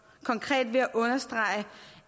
ved at understrege